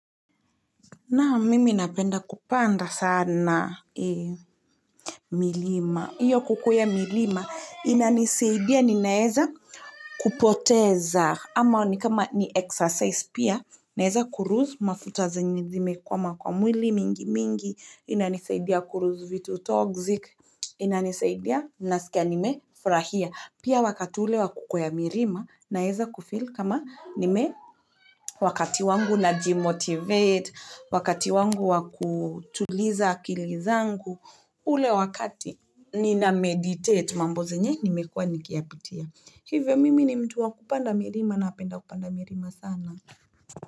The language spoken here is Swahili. Naam, mimi napenda kupanda sana milima. Iyo kukweya milima, ina nisaidia nina eza kupoteza. Ama ni kama ni exercise pia. Naeza ku loose mafuta zenye zimekwama kwa mwili mingi mingi. Ina nisaidia kuloose vitu toxic ina nisaidia, naskia nimefurahia. Pia wakati ule wa kukwea milima, na eza kufeel kama ni me wakati wangu na jimotivate, wakati wangu wa kutuliza akili zangu, ule wakati nina meditate mambo zenye nimekuwa nikiyapitia. Hivyo mimi ni mtu wa kupanda milima napenda kupanda milima sana.